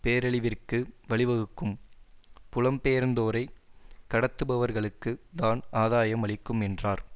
பேரழிவிற்கு வழிவகுக்கும் புலம்பெயர்ந்தோரை கடத்துபவர்களுக்கு தான் ஆதாயம் அளிக்கும் என்றார்